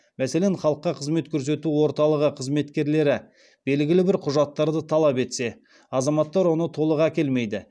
мәселен халыққа қызмет көсету орталығы қызметкерлері белгілі бір құжаттарды талап етсе азаматтар оны толық әкелмейді